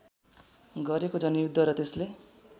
गरेको जनयुद्ध र त्यसले